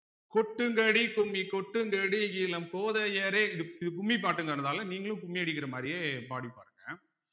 கொட்டுங்கடி கும்மி கொட்டுங்கடி இளங் கோதையரே இதுக்கு கும்மி பாட்டுங்கறதால நீங்களும் கும்மி அடிக்கிற மாதிரியே படி பாருங்க